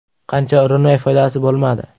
Qancha urinmay, foydasi bo‘lmadi.